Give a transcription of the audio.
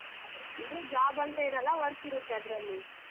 ಅಂದ್ರೆ job ಅಂತ್ ಏನಲ್ಲ work ಇರತ್ತೆ ಅದ್ರಲ್ಲಿ.